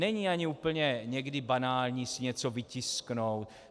Není ani úplně někdy banální si něco vytisknout.